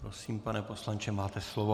Prosím, pane poslanče, máte slovo.